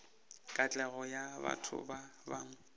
katlego ya batho ba bangwe